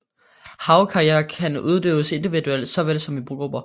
Havkajak kan udøves individuelt såvel som i grupper